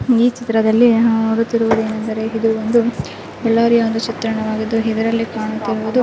ಈ ಚಿತ್ರದಲ್ಲಿ ನಾವು ನೋಡುತ್ತಿರುವುದೇನೆಂದರೆ ಇದು ಒಂದು ಬಳ್ಳಾರಿಯ ಒಂದು ಚಿತ್ರಣವಾಗಿದ್ದು ಇದರಲ್ಲಿ ಕಾಣುತ್ತಿರುವುದು